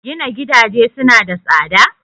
Gina gidaje suna da tsada?